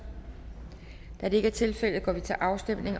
da det ikke er tilfældet går vi til afstemning